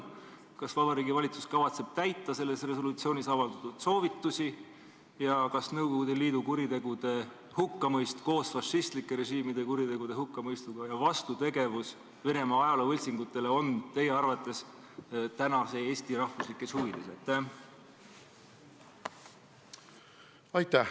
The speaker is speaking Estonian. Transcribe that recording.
Kas Vabariigi Valitsus kavatseb täita selles resolutsioonis antud soovitusi ja kas Nõukogude Liidu kuritegude hukkamõist koos fašistlike režiimide kuritegude hukkamõistuga ja vastutegevus Venemaa ajaloovõltsingutele on teie arvates tänase Eesti rahvuslikes huvides?